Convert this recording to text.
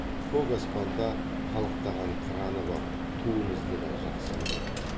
көк аспанда қалықтаған қыраны бар туымызды да жақсы көреді